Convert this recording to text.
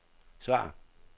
svar